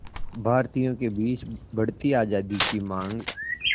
भारतीयों के बीच बढ़ती आज़ादी की मांग